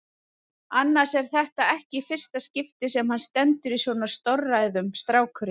Annars er þetta ekki í fyrsta skipti sem hann stendur í svona stórræðum, strákurinn.